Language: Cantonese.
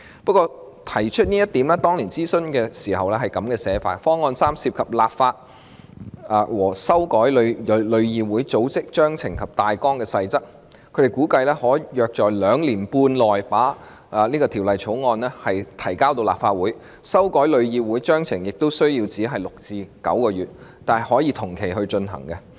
不過，當年提出這項方案時，諮詢文件指方案三涉及立法和修改旅議會《組織章程大綱及細則》，估計可在兩年半內把法案提交立法會，修改旅議會章程則需時6個至9個月，但可以同期進行。